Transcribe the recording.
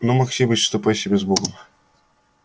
ну максимыч ступай себе с богом